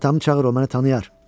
Atamı çağır, o məni tanıyır.